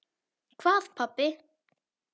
Hvað pabbi?